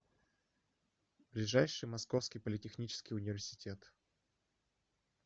ближайший московский политехнический университет